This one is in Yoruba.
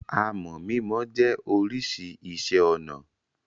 Àmọ̀ mímọ jẹ́ oríṣi iṣẹ́-ọnà.